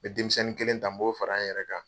N bɛ denmisɛnnin kelen ta n b'o fara n yɛrɛ kan.